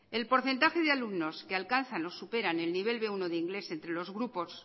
el porcentaje de alumnos que alcanzan o superar el nivel de inglés entre los grupos